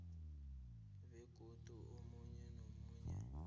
begodu omunye nomunye